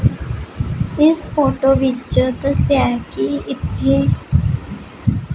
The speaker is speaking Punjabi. ਇਸ ਫੋਟੋ ਵਿੱਚ ਦੱਸਿਆ ਕਿ ਇੱਥੇ--